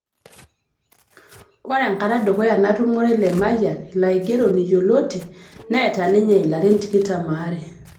Ore ekata edukuya natumure Lemayian ilo aigeroni yioloti neeta ninye ilarin tikitam o are